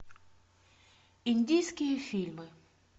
индийские фильмы